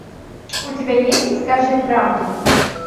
у тебя есть скажи правду